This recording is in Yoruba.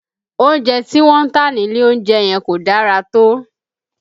Oúnjẹ tí wọ́n ń tà nílé oúnjẹ yẹn kò dára tó